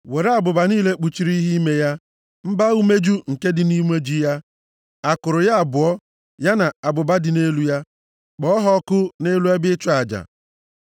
Were abụba niile kpuchiri ihe ime ya, mba-umeju nke dị nʼumeju ya, akụrụ ya abụọ ya na abụba dị nʼelu ha, kpọọ ha ọkụ nʼelu ebe ịchụ aja.